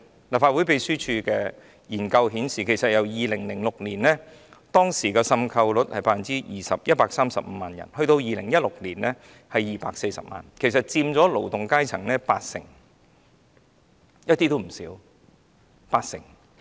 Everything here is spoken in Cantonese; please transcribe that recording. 立法會秘書處的研究顯示 ，2006 年的滲透率是 20%、即135萬人 ，2016 年是240萬人，佔勞動階層八成，數字並不低。